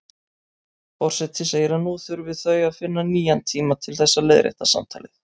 Forseti segir að nú þurfi þau að finna nýjan tíma til þess að leiðrétta samtalið.